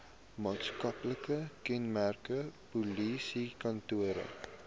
maatskaplike kenmerke polisiekantore